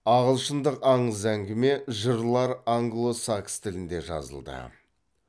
ағылшындық аңыз әңгіме жырлар англо сакс тілінде жазылды